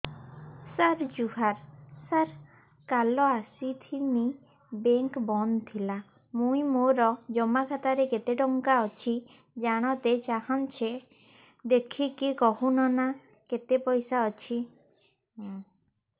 ସାର ଜୁହାର ସାର କାଲ ଆସିଥିନି ବେଙ୍କ ବନ୍ଦ ଥିଲା ମୁଇଁ ମୋର ଜମା ଖାତାରେ କେତେ ଟଙ୍କା ଅଛି ଜାଣତେ ଚାହୁଁଛେ ଦେଖିକି କହୁନ ନା କେତ ପଇସା ଅଛି